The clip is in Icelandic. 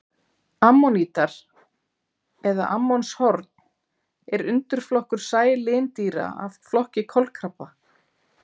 Ammonítar eða ammonshorn er undirflokkur sælindýra af flokki kolkrabba.